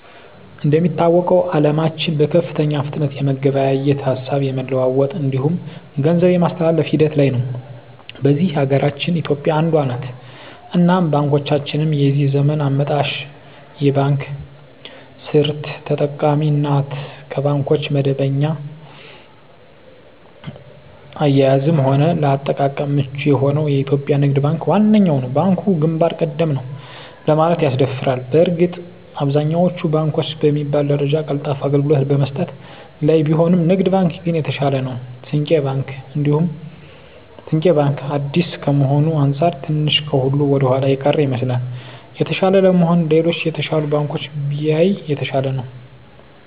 እንደሚታወቀዉ አለማችን በከፍተኛ ፍጥነት የመገበያየት፣ ሀሳብ የመለዋወጥ እንዲሁም ገንዘብ የማስተላፍ ሂደት ላይ ነዉ። በዚህ ሀገራችን ኢትዮጵያ አንዷ ነት እናም ባንኮቻችንም የዚህ ዘመን አመጣሽ የባንክ ስርት ተጠቃሚ ናት ከባንኮች በደንበኛ አያያዝም ሆነ ለአጠቃቀም ምቹ የሆነዉ የኢትዮጵያ ንግድ ባንክ ዋነኛዉ ነዉ። ባንኩ ግንባር ቀደም ነዉ ለማለትም ያስደፍራል በእርግጥ አብዛኛወቹ ባንኮች በሚባል ደረጃ ቀልጣፋ አገልግሎት በመስጠት ላይ ቢሆኑም ንግድ ባንክ ግን የተሻለ ነዉ። ስንቄ ባንክ አዲስ ከመሆኑ አንፃር ትንሽ ከሁሉ ወደኋላ የቀረ ይመስላል። የተሻለ ለመሆን ሌሎች የተሻሉ ባንኮችን ቢያይ የተሻለ ነዉ።